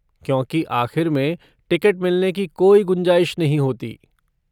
क्योंकि आख़िर में टिकट मिलने की कोई गुंजाइश नहीं होती।